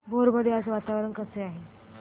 भोर मध्ये आज वातावरण कसे आहे